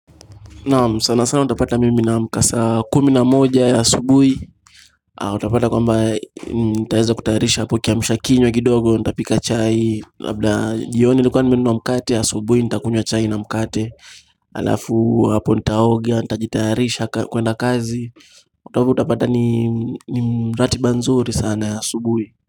Naam, sana sana utapata mimi naamka saa kumi na moja ya asubuhi Utapata kwamba nitaeza kutayarisha apo kiamshakinywa kidogo nitapika chai, labda jioni nilikuwa nimenua mkate ya asubuhi nitakunywa chai na mkate Alafu hapo nitaoga nitajitayarisha kuenda kazi Utapata ni mratiba nzuri sana ya asubuhi.